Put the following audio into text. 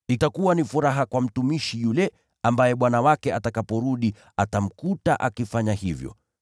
Heri mtumishi yule ambaye bwana wake atakaporudi atamkuta akifanya hivyo.